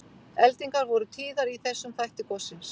Eldingar voru tíðar í þessum þætti gossins.